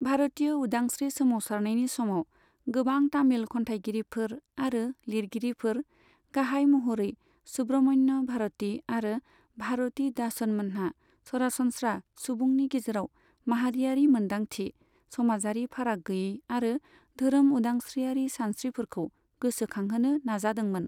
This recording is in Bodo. भारतिय उदांस्रि सोमावसारनायनि समाव, गोबां तामिल खन्थायगिरिफोर आरो लिरगिरिफोर, गाहाय महरै सुब्रमण्य भारति आरो भारति दासन मोनहा सरासनस्रा सुबुंनि गेजेराव माहारियारि मोन्दांथि, समाजारि फाराग गैयै आरो धोरोम उदांस्रिआरि सानस्रिफोरखौ गोसो खांहोनो नाजादोंमोन।